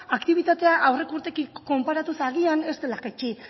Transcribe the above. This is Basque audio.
aktibitatea aurreko urteekin konparatuz agian ez dela jaitsi